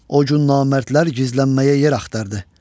O gün namərdlər gizlənməyə yer axtardı.